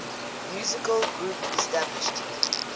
musical groups established